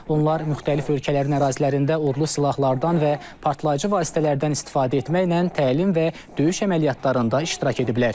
Onlar müxtəlif ölkələrin ərazilərində, ordu silahlardan və partlayıcı vasitələrdən istifadə etməklə təlim və döyüş əməliyyatlarında iştirak ediblər.